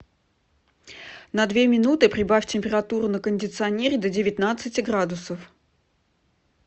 на две минуты прибавь температуру на кондиционере до девятнадцати градусов